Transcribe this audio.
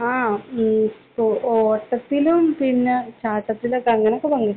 ആ. ഓട്ടത്തിലും പിന്നെ ചാട്ടത്തിലും ഒക്കെ അങ്ങനൊക്കെ പങ്കെടുത്തിട്ടുണ്ട്.